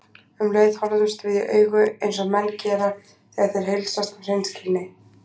Um leið horfðumst við í augu eins og menn gera þegar þeir heilsast af hreinskilni.